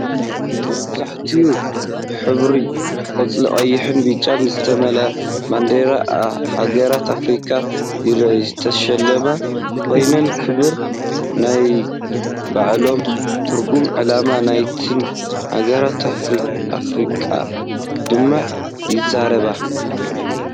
መብዛሕትኡ ብሕብሪ ቆፃል፣ ቀይሕን ብጫ ዝተመልአ ባንዴራ ሃገራት ኣፍሪቃ ይረአ፤ ዝተሸለማ ኮይነን ክብሪ ነናይባዕሎምን ትርጉምን ዕላማ ናይተን ሃገራት ኣፍሪቃ ድማ ይዛረብ።